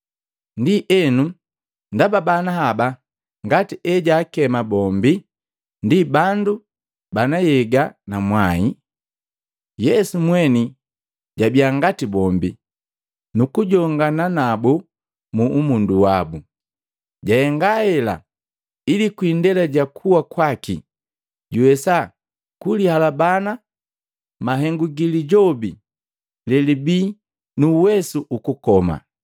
Ndienu ndaba bana haba, ngati ejaakema bombi, ndi bandu bana nhyega na mwai, Yesu mweni jabiya ngati bombi nu kujongana nabu mu umundu wabu. Jahenga hela, ili kwii indela ja kuwa kwaki, juwesa kulihalabana mahengu gi Lijobi lelibii nu uwesu ukukoma,